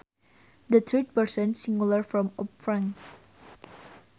The third person singular form of prank